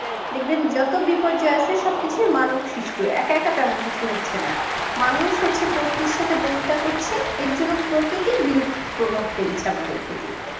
দেখবেন যত বিপর্যয় আছে সবকিছু মানব সৃষ্ট একা একা তেমন কিছু হচ্ছে না মানুষ হচ্ছে প্রতি সাথে বই নিতাই করছে এর জন্য প্রকৃতি বিরূপ প্রভাব ফেলছে আমাদের প্রতি